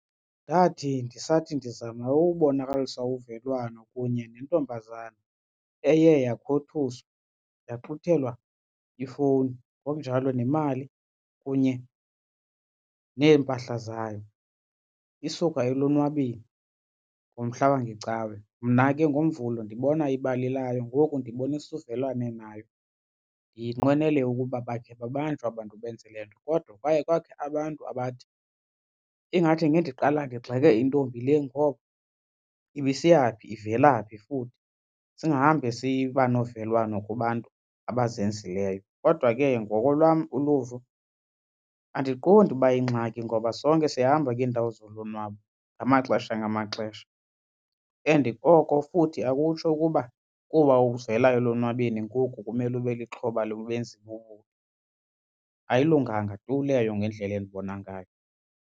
Ndathi ndisathi ndizama ukubonakalisa uvelwano kunye nentombazana eye yakhuthuzwa yaxuthelwa ifowuni ngokunjalo nemali kunye neempahla zayo isuka elonwabeni ngomhla wangeCawe. Mna ke ngoMvulo ndibona ibali layo ngoku ndibonisa uvelwano nayo ndiyinqwenele ukuba bakhe babanjwe aba bantu benze le nto. Kodwa kwaye kwakho abantu abathi ingathi ngendiqala ndigxeke intombi le ngoba ibisiya phi ivela phi futhi singahambe siba novelwano kubantu abazenzileyo. Kodwa ke ngoko lwam uluvo andiqondi uba yingxaki ngoba sonke siyahamba kwiindawo zolonwabo ngamaxesha ngamaxesha and oko futhi akutsho ukuba kuba uvela elonwabeni ngoku kumele ube lixhoba lobenzi bobubi. Ayilunganga tu leyo ngendlela endibona ngayo.